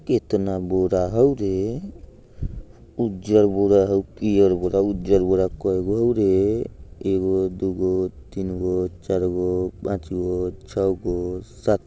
कितना बोरा हउ रे उजर बोरा हउ पियर बोरा उजर बोरा। कइगो हउ रे एगो दूगो तीनगो चारगो पाँचगो छगो सात --